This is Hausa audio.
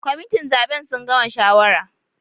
Members of the electoral committee have finished deciding